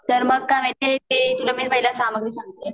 तर मग काय माहितीये ते मी तुला पहिला सामान सांगते